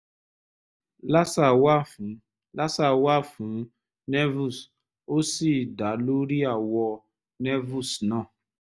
laser wà fún laser wà fún nevus ó sì dá lórí àwọ̀ nevus náà